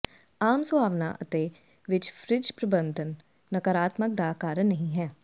ਆਮ ਸੁਹਾਵਣਾ ਅਤੇ ਵਿੱਚ ਫਰਿੱਜ ਪ੍ਰਬੰਧਨ ਨਕਾਰਾਤਮਕ ਦਾ ਕਾਰਨ ਨਹੀ ਹੈ